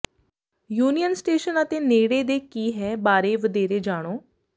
union Station ਅਤੇ ਨੇੜੇ ਦੇ ਕੀ ਹੈ ਬਾਰੇ ਵਧੇਰੇ ਜਾਣੋ